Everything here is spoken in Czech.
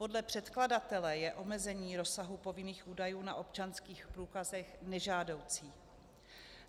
Podle předkladatele je omezení rozsahu povinných údajů na občanských průkazech nežádoucí.